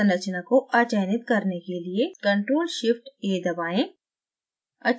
संरचना को अचयनित करने के लिए ctrl + shift + a दबाएं